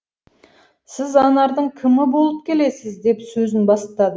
сіз анардың кімі болып келесіз деп сөзін бастады